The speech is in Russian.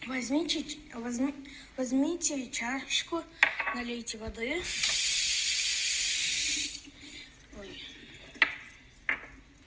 возьмите че возьми возьмите чашку налейте воды ой